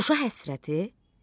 Şuşa həsrəti?